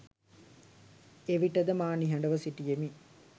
එවිටද මා නිහඩ ව සිටියෙමි.